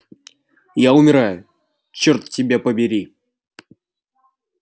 я умираю чёрт тебя побери